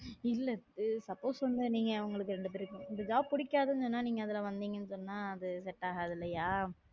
இல்ல எ suppose வந்து நீங்க அவங்களுக்கு ரெண்டு பேரும் இந்த புடிக்காதுன்னு சொன்னா நீங்க அதுல வந்தீங்கன்னா அது செட்டாகாது இல்லையா